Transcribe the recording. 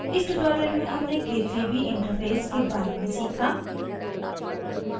इस tutorial में हमने k3b interface के बारे में सीखा